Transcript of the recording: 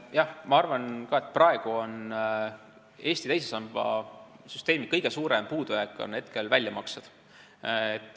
Jah, ma arvan ka, et praegu on Eesti teise samba süsteemi kõige suurem puudujääk väljamaksed.